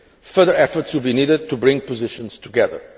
Further efforts will be needed to bring positions together.